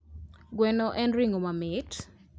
Gweno en ring'o mamit.